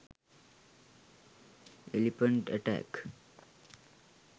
elephant attack